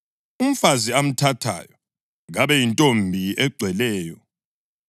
Umfazi amthathayo kabe yintombi egcweleyo.